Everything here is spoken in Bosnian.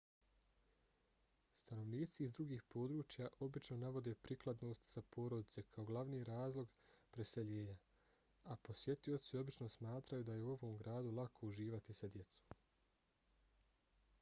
stanovnici iz drugih područja obično navode prikladnost za porodice kao glavni razlog preseljenja a posjetioci obično smatraju da je u ovom gradu lako uživati sa djecom